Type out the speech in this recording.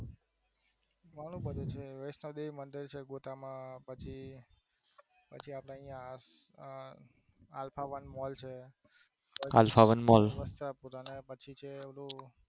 ઘણું બધું છે વૈષ્ણોદેવી મંદિર છે ગોતામાં પછી અલ્ફા વન મોલ છે વસ્ત્રાપુર